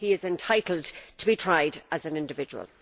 He is entitled to be tried as an individual.